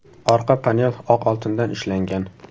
Orqa panel oq oltindan ishlangan.